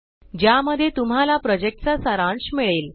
ज्या मध्ये तुम्हाला प्रोजेक्ट चा सारांश मिळेल